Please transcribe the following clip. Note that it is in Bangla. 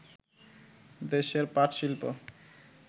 দেশের পাটশিল্প